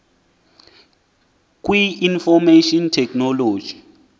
kwi information technology